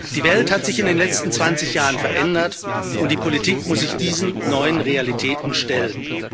Die Welt hat sich in den letzten zwanzig Jahren verändert, und die Politik muss sich diesen neuen Realitäten stellen.